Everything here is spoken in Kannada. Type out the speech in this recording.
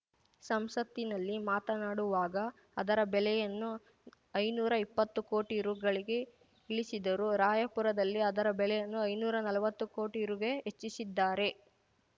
ಸಂಸತ್ತಿನಲ್ಲಿ ಮಾತನಾಡುವಾಗ ಅದರ ಬೆಲೆಯನ್ನು ಐನೂರಾ ಇಪ್ಪತ್ತು ಕೋಟಿ ರುಗೆ ಇಳಿಸಿದ್ದರು ರಾಯಪುರದಲ್ಲಿ ಅದರ ಬೆಲೆಯನ್ನು ಐನೂರಾ ನಲ್ವತ್ತು ಕೋಟಿ ರು ಹೆಚ್ಚಿಸಿದ್ದಾರೆ